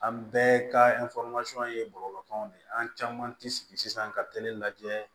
An bɛɛ ka ye bɔlɔlɔw de ye an caman ti sigi sisan ka teli lajɛ